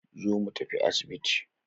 Zo mu tafi asibiti